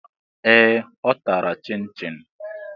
Ee! Ọ tara Chịnchịn.